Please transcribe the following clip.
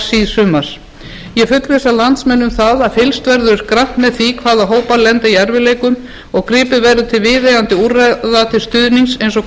síðsumars ég fullvissa landsmenn um það að fylgst verður grannt með því hvaða hópar lenda í erfiðleikum og gripið verður til viðeigandi úrræða til stuðnings eins og